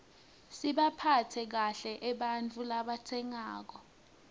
sibaphatse kahle ebantfu labatsengako